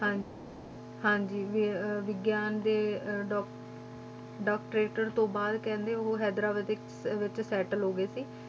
ਹਾਂਜੀ ਹਾਂਜੀ ਵਿ~ ਵਿਗਿਆਨ ਦੇ ਅਹ ਡਾਕ~ doctorate ਤੋਂ ਬਾਅਦ ਕਹਿੰਦੇ ਉਹ ਹੈਦਰਾਬਾਦ ਦੇ ਇੱਕ ਵਿੱਚ settle ਹੋ ਗਏ ਸੀ,